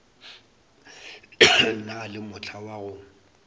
na le mohla wa go